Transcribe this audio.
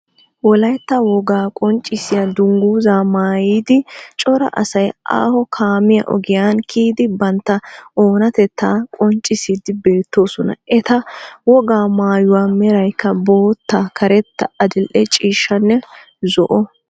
Wolaytta wogaa qonccissiya dungguzaa maayiddi cora asay aaho kaame ogiyaa kiyidi bantta oonattetta qonccissiidi beettoosona. eta wogaa maayuwaa meraykka bootta karetta adil"e ciishshanne zo"o.